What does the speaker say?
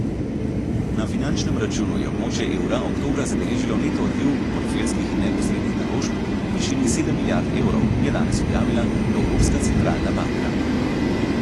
Na finančnem računu je območje evra oktobra zabeležilo neto odliv portfeljskih in neposrednih naložb v višini sedem milijard evrov, je danes objavila Evropska centralna banka.